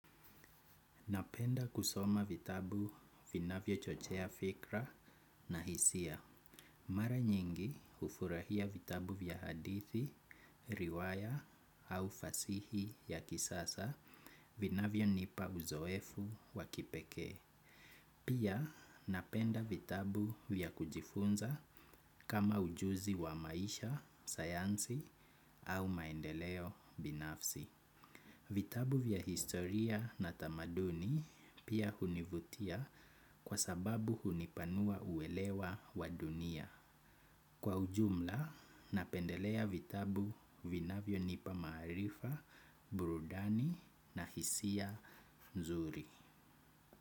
Napenda kusoma vitabu vinavyo chochea fikra na hisia. Mara nyingi hufurahia vitabu vya hadithi, riwaya au fasihi ya kisasa vinavyo nipa uzoefu wa kipekee. Pia napenda vitabu vya kujifunza kama ujuzi wa maisha, sayansi au maendeleo binafsi. Vitabu vya historia na tamaduni pia hunivutia kwa sababu hunipanua uelewa wa dunia. Kwa ujumla, napendelea vitabu vinavyo nipa maarifa, burudani na hisia nzuri.